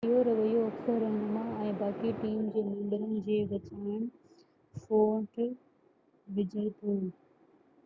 اهو رويو اڪثر رهنما ۽ باقي ٽيم جي ممبرن جي وچان ڦوٽ وجهي ٿو